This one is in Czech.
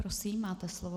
Prosím, máte slovo.